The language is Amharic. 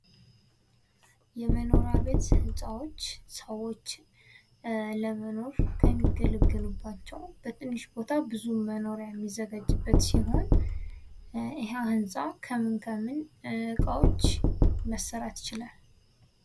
የመኖሪያ ቤት ህንጻዎች ሰዎች ለመኖር ከሚገለገሉባቸው በትንሽ ቦታ ብዙ መኖሪያ የሚዘጋጅበት ሲሆን ያ ህንጻ ከምን ከምን እቃዎች መሰራት ይችላል?